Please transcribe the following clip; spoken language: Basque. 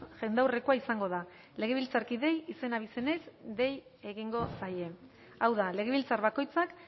jendaurrekoa izango da legebiltzarkideei izen abizenez dei egingo zaie hau da legebiltzar bakoitzak